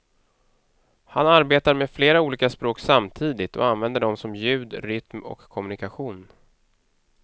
Han arbetar med flera olika språk samtidigt och använder dem som ljud, rytm och kommunikation.